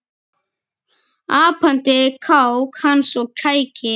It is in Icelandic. Apandi kák hans og kæki